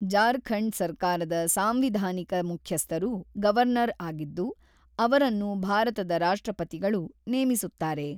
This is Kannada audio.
ಜಾರ್ಖಂಡ್ ಸರ್ಕಾರದ ಸಾಂವಿಧಾನಿಕ ಮುಖ್ಯಸ್ಥರು ಗವರ್ನರ್ ಆಗಿದ್ದು, ಅವರನ್ನು ಭಾರತದ ರಾಷ್ಟ್ರಪತಿಗಳು ನೇಮಿಸುತ್ತಾರೆ.